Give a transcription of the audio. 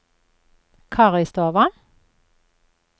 Karistova